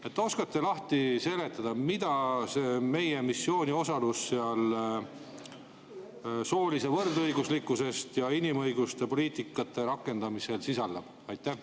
Kas oskate lahti seletada, mida see meie osalus seal soolise võrdõiguslikkuse ja inimõiguste poliitikate rakendamisel sisaldab?